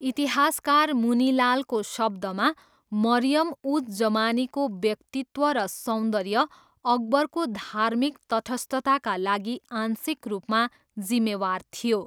इतिहासकार मुनीलालको शब्दमा, 'मरियम उज जमानीको व्यक्तित्व र सौन्दर्य अकबरको धार्मिक तटस्थताका लागि आंशिक रूपमा जिम्मेवार थियो।'